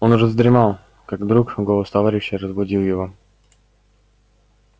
он уже задремал как вдруг голос товарища разбудил его